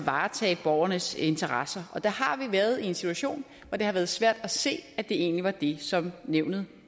varetage borgernes interesser og vi har været i en situation hvor det har været svært at se at det egentlig var det som nævnet